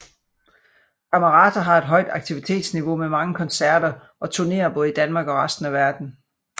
Camerata har et højt aktivitetsniveau med mange koncerter og turnéer både i Danmark og resten af verden